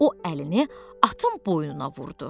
O əlini atın boynuna vurdu.